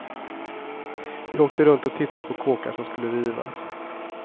Vi åkte runt och tittade på kåkar som skulle rivas.